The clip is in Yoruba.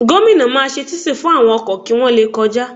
Gomina máa ṣe títì tuntun fún àwọn ọkọ̀ kí wọ́n le kọjá